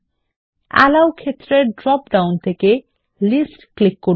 আলো ক্ষেত্রের drop down থেকে লিস্ট ক্লিক করুন